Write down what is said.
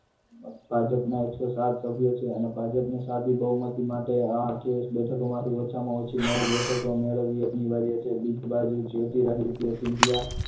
ભાજપના એકસો સાત સભ્યો છે અને ભાજપને સાદી બહુમતી માટે આ અઠ્યાવીસ બેઠકો માંથી ઓછામાં ઓછી નવ બેઠકો મેળવવી અનિવાર્ય છે. બીજી બાજુ જ્યોતિરાદિત્ય સિંધિયા